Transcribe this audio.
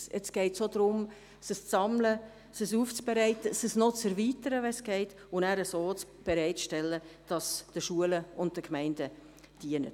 Jetzt geht es darum, dies zu sammeln, dies aufzubereiten und zu erweitern, wenn es geht, und dies so bereitzustellen, dass es den Schulen und Gemeinden dient.